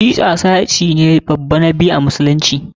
Shi'a sashi ne babba na biyu a musulunci.